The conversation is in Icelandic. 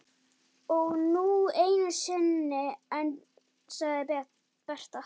Og nú einu sinni enn, sagði Berta.